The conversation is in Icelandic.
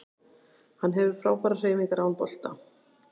Hann hefur frábærar hreyfingar án bolta